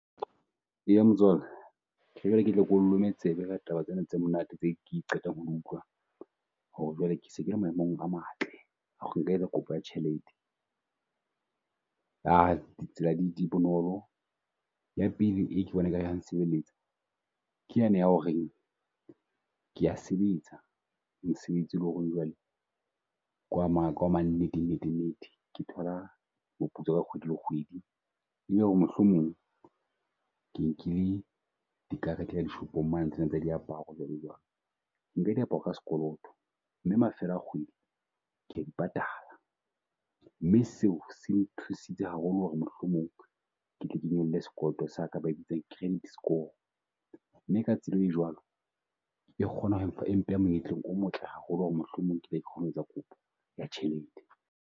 Eya motswala jwale ke tle ke o lome tsebe ka taba tsena tse monate ke qetang ho di utlwa ho re jwale ke se kele maemong a matle a ho re nka etsa kopo ya tjhelete. Tsela di bonolo ya pele e ke bonang e ka re ya sebeletsa ke ya ne ya ho reng ke a sebetsa mosebetsi o le ho reng jwale ke wa ma ke wa ma nnete nnete nnete. Ke thola moputso ka kgwedi le kgwedi, ebe ho re mohlomong ke nkile di karete ya dishopong mane tsena tsa diaparo jwalo jwalo. Ke nka diaparo ka skoloto mme mafelo a kgwedi, ke ya di patala mme seo se nthusitse haholo ho re mohlomong ketle ke nyolle skoloto sa ka. Ba e bitsa credit score mme ka tsela e jwalo, e kgona ho e mpeha monyetleng o motle haholo ho re mohlomong ke tle ke kgone ho etsa kopo ya tjhelete.